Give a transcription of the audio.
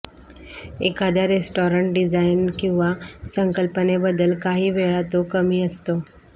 एखाद्या restaurant design किंवा संकल्पनेबद्दल काहीवेळा तो कमी असतो